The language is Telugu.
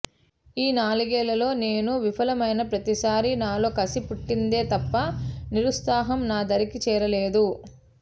ఈ నాలుగేళ్లలో నేను విఫలమైన ప్రతిసారీ నాలో కసి పుట్టిందే తప్ప నిరుత్సాహం నా దరికి చేరలేదు